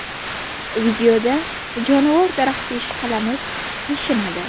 Videoda jonivor daraxtga ishqalanib, qashinadi.